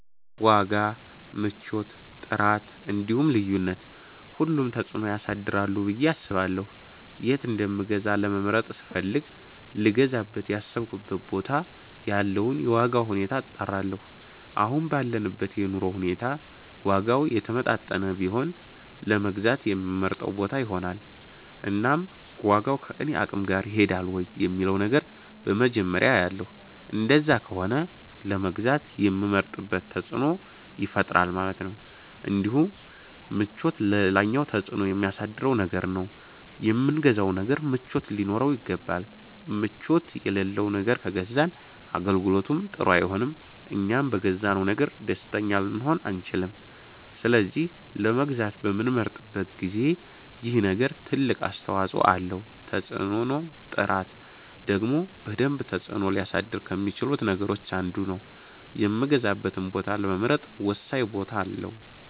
ዋጋ፣ ምቾት፣ ጥራት እንዲሁም ልዩነት ሁሉም ተፅእኖ ያሳድራሉ ብየ አስባለሁ የት እንደምገዛ ለመምረጥ ስፈልግ ልገዛበት ያሰብኩበት ቦታ ያለውን የዋጋ ሁኔታ አጣራለሁ አሁን ባለንበት የኑሮ ሁኔታ ዋጋው የተመጣጠነ ቢሆን ለመግዛት የምመርጠው ቦታ ይሆናል እናም ዋጋው ከኔ አቅም ጋር ይሄዳል ወይ የሚለውን ነገር በመጀመርያ አያለሁ እንደዛ ከሆነ ለመግዛት የምመርጥበት ተፅእኖ ይፈጥራል ማለት ነው እንዲሁም ምቾት ሌላኛው ተፅእኖ የሚያሳድር ነገር ነው የምንገዛው ነገር ምቾት ሊኖረው ይገባል ምቾት የለለው ነገር ከገዛን አገልግሎቱም ጥሩ አይሆንም እኛም በገዛነው ነገር ደስተኛ ልንሆን አንቺልም ስለዚህ ለመግዛት በምንመርጥበት ጊዜ ይሄ ነገር ትልቅ አስተዋፀኦ አለው ተፅእኖም ጥራት ደግሞ በደንብ ተፅእኖ ሊያሳድር ከሚቺሉት ነገሮች አንዱ ነው የምገዛበትን ቦታ ለመምረጥ ወሳኝ ቦታ አለው